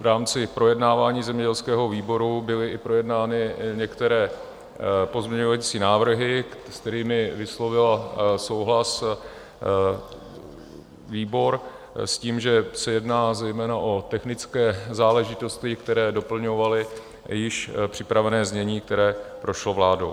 V rámci projednávání zemědělského výboru byly i projednány některé pozměňovací návrhy, s kterými vyslovil souhlas výbor, s tím, že se jedná zejména o technické záležitosti, které doplňovaly již připravené znění, které prošlo vládou.